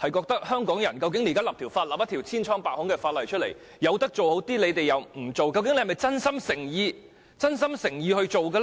認為香港現在進行的立法千瘡百孔，明明可以做好點卻不去做，究竟是否真心誠意去做這件事呢？